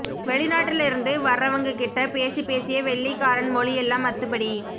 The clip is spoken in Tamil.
வெளிநாட்டுல இருந்து வர்றவங்ககிட்ட பேசிப் பேசியே வெள்ளைக் காரன் மொழி எல்லாம் அத்துப்படி